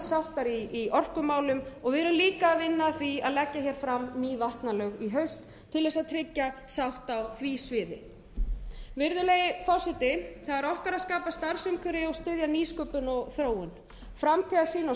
sáttar í orkumálum við erum líka að vinna að því að leggja hér fram ný vatnalög í haust til þess að tryggja sátt á því sviði virðuleg forseti það er okkar að skapa starfsumhverfi og styðja nýsköpun og þróun framtíðarsýn og stefnufesta er hluti